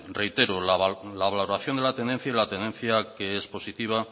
reitero la valoración de la tendencia y la tendencia que es positiva